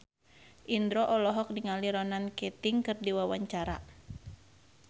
Indro olohok ningali Ronan Keating keur diwawancara